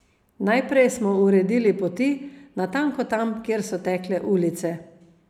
Najprej smo uredili poti, natanko tam, kjer so tekle ulice.